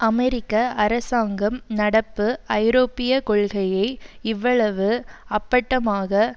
அமெரிக்க அரசாங்கம் நடப்பு ஐரோப்பிய கொள்கையை இவ்வளவு அப்பட்டமாக